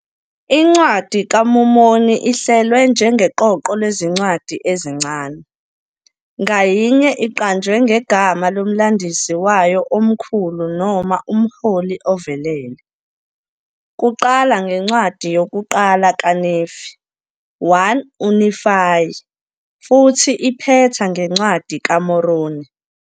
INcwadi kaMormoni ihlelwe njengeqoqo lezincwadi ezincane, ngayinye iqanjwe ngegama lomlandisi wayo omkhulu noma umholi ovelele, kuqala ngeNcwadi yokuqala kaNefi, 1 uNifayi, futhi iphetha ngeNcwadi kaMoroni.